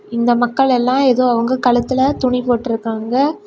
இந்த மக்கள் எல்லா ஏதோ அவங்க கழுத்துல துணி போட்ருக்காங்க.